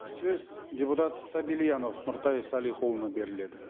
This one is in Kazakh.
сөз депутат сабильянов нұртай салихұлына беріледі